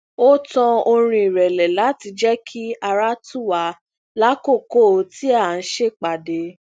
ó tan orin irẹlẹ láti jẹ kí ara tù wá lákòókò tí à ń ṣèpàdé